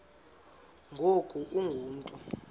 ngoku ungu mntu